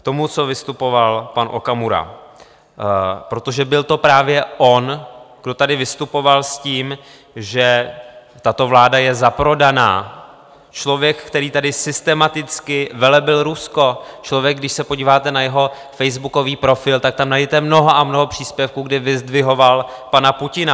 K tomu, co vystupoval pan Okamura, protože byl to právě on, co tady vystupoval s tím, že tato vláda je zaprodaná - člověk, který tady systematicky velebil Rusko, člověk, když se podíváte na jeho facebookový profil, tak tam najdete mnoho a mnoho příspěvků, kdy vyzdvihoval pana Putina.